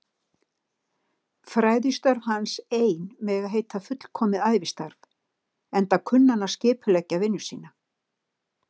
Fræðistörf hans ein mega heita fullkomið ævistarf, enda kunni hann að skipuleggja vinnu sína.